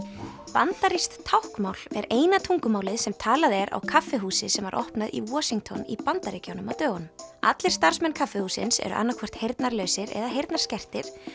bandarískt táknmál er eina tungumálið sem talað er á kaffihúsi sem var opnað í Washington í Bandaríkjunum á dögunum allir starfsmenn kaffihússins eru annaðhvort heyrnarlausir eða heyrnarskertir